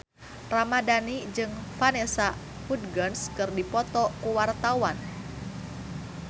Mohammad Tria Ramadhani jeung Vanessa Hudgens keur dipoto ku wartawan